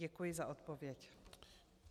Děkuji za odpověď.